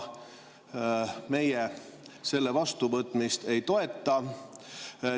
Meie selle vastuvõtmist ei toeta.